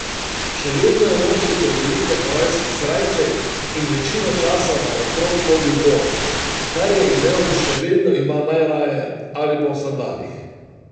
Še vedno je nosil prevelike havajske srajce in večino časa naokrog hodil bos, kar je imel in še vedno ima najraje, ali pa v sandalih.